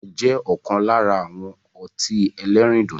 Fanta jẹ́ ọ̀kan lára àwọn ọtí ẹlẹ́rìndòdò